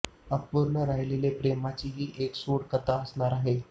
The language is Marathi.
अपूर्ण राहिलेल्या प्रेमाची ही एक सूड कथा असणार आहे